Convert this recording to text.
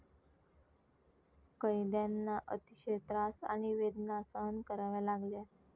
कैद्यांना अतिशय त्रास आणि वेदना सहन कराव्या लागल्या.